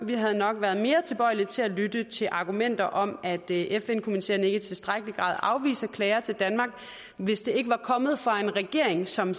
vi havde nok været mere tilbøjelige til at lytte til argumenter om at fn komiteerne ikke i tilstrækkelig grad afviser klager til danmark hvis det ikke var kommet fra en regering som